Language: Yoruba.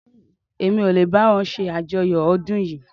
Èmi ò lè báwo ṣàjọyọ̀ ọdún yìí